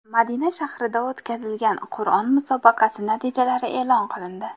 Madina shahrida o‘tkazilgan Qur’on musobaqasi natijalari e’lon qilindi.